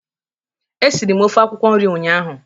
Esiri m ofe akwụkwọ nri ụnyaahụ